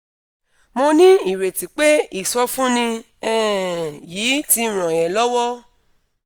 mo ní ìrètí pé ìsọfúnni um yìí ti ràn ẹ́ lọ́wọ́